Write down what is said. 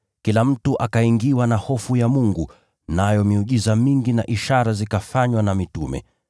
Kila mtu akaingiwa na hofu ya Mungu, nayo miujiza mingi na ishara zikafanywa na mitume.